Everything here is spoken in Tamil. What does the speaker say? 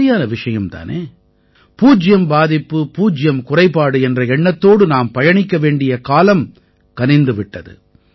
சரியான விஷயம் தானே பூஜ்யம் பாதிப்பு பூஜ்யம் குறைபாடு என்ற எண்ணத்தோடு நாம் பயணிக்க வேண்டிய காலம் கனிந்து விட்டது